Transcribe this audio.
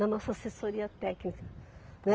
Da nossa assessoria técnica.